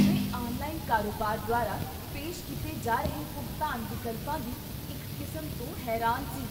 ਮੈਂ ਆਨਲਾਈਨ ਕਾਰੋਬਾਰ ਦੁਆਰਾ ਪੇਸ਼ ਕੀਤੇ ਜਾ ਰਹੇ ਭੁਗਤਾਨ ਵਿਕਲਪਾਂ ਦੀ ਇੱਕ ਕਿਸਮ ਤੋਂ ਹੈਰਾਨ ਸੀ।